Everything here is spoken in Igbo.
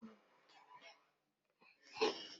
Nwoke onye ọkà ahụ chezọrọ ngwa ọrụ ya